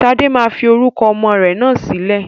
Sade máa fi orúkọ ọmọ rẹ náà sílẹ̀